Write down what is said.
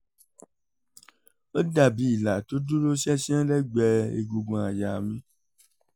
ó dàbí ilà tó dúró ṣánṣán lẹ́gbẹ̀ẹ́ egungun àyà mi